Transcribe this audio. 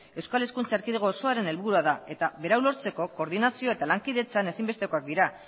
euskal hezkuntza erkidego osoa helburua da eta berau lortzeko koordinazio eta lankideentzat ezinbestekoak dira